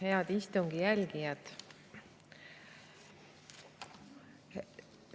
Head istungi jälgijad!